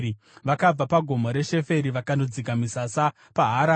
Vakabva paGomo reSheferi vakandodzika misasa paHaradha.